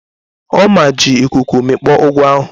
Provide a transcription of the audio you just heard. Ọma ji ikuku mikpọ ugu ahụ.